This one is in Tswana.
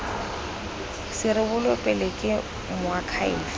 se rebolwe pele ke moakhaefe